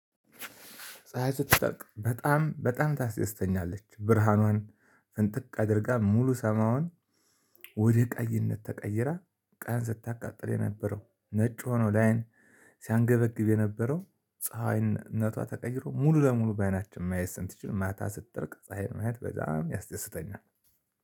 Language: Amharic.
ፀሀይ ስትጠልቅ በጣም በጣም ታስተስተኛለች ብርሃኗን እንጥቅ አድርጋ ሙሉ ሰማዋን። ወደ ቀይነት ተቀይራ ቀን ስታቃጥል የነበረው ነጭ ሆኖ ለአይን ሲያንገበግብ የነበረው ፀሀይነቷ ተቀይሮ ሙሉ ለሙሉ በአይናችን ማየት ስንት ትችል ማታ ስትጠርቅ ፀሀይን ማለት በጣም ያስደስተኛል።